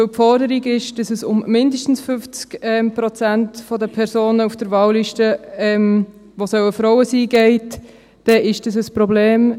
Weil die Forderung lautet, dass mindestens 50 Prozent der Personen auf den Wahllisten Frauen sein sollen, ist dies ein Problem.